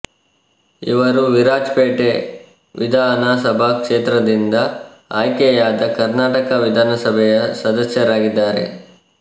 ಇವರು ವಿರಾಜಪೇಟೆ ವಿದಅನ ಸಭಾ ಕ್ಷೇತ್ರದಿಂದ ಆಯ್ಕೆಯಾದ ಕರ್ನಾಟಕ ವಿಧಾನ ಸಭೆಯ ಸದಸ್ಯರಾಗಿದ್ದಾರೆ